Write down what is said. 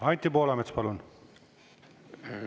Anti Poolamets, palun!